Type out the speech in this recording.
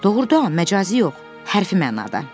Doğurdan, məcazi yox, hərfi mənada.